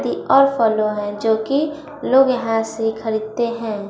ती और फलों है जो कि लोग यहां से खरीदते हैं।